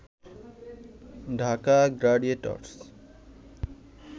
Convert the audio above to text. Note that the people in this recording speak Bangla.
ঢাকা গ্ল্যাডিএটর্স